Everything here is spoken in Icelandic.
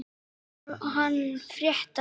Einar hann frétta.